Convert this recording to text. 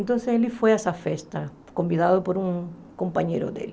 Então ele foi a essa festa, convidado por um companheiro dele.